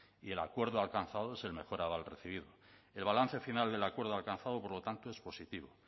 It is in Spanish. y el acuerdo alcanzado es el mejor aval recibido el balance final del acuerdo alcanzado por lo tanto es positivo